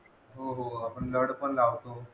हो आपण नड पण लावतो